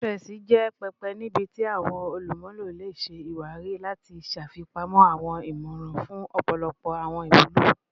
Pinterest jẹ pẹpẹ nibiti awọn olumulo le ṣe iwari ati ṣafipamọ awọn imọran fun ọpọlọpọ awọn iwulo